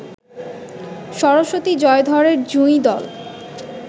সরস্বতী জয়ধরের জুঁই দল